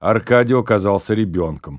аркадий оказался ребёнком